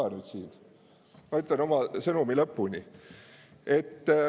Ma räägin oma lõpuni.